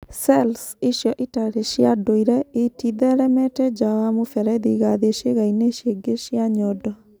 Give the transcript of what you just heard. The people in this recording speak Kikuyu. Cells icio itarĩ cia ndũire itĩtheremete nja wa mũberethi igathiĩ ciĩga-inĩ cingĩ cia nyondo.